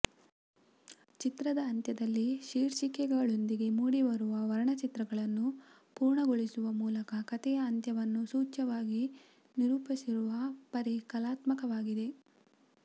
ಚಿತ್ರದ ಅಂತ್ಯದಲ್ಲಿ ಶೀರ್ಷಿಕೆಗಳೊಂದಿಗೆ ಮೂಡಿಬರುವ ವರ್ಣಚಿತ್ರಗಳನ್ನು ಪೂರ್ಣಗೊಳಿಸುವ ಮೂಲಕ ಕಥೆಯ ಅಂತ್ಯವನ್ನು ಸೂಚ್ಯವಾಗಿ ನಿರೂಪಿಸಿರುವ ಪರಿ ಕಲಾತ್ಮಕವಾಗಿದೆ